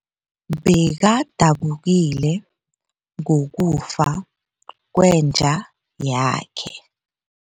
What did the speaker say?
Bekadabukile ngokufa kwenja yakhe.